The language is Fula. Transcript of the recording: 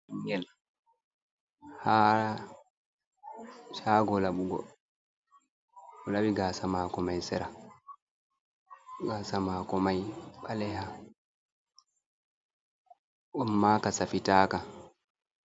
Goɗɗo haa caago laɓugo, o laɓi gaasa maako may sera, gaasa maako may ɓaleha ammaa ka safitaka.